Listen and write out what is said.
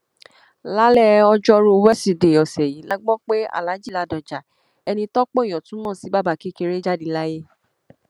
lálẹ ọjọrùú wíṣọdẹẹ ọsẹ yìí la gbọ pé alhaji ladoja ẹni tọpọ èèyàn tún mọ sí bàbá kékeré jáde láyé